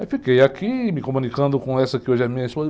Aí fiquei aqui me comunicando com essa que hoje é minha esposa.